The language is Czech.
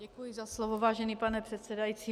Děkuji za slovo, vážený pane předsedající.